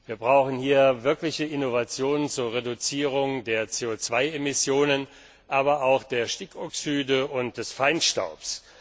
Wir brauchen hier wirkliche Innovationen zur Reduzierung der CO 2 Emissionen, aber auch der Stickoxide und des Feinstaubs.